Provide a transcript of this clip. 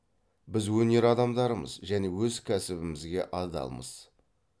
біз өнер адамдарымыз және өз кәсібімізге адалмыз